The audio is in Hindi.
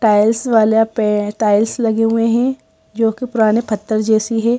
टाइल्स पे टाइल्स लगे हुए हैं जोकि पुराने पत्थर जैसी है।